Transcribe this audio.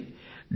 చూడండి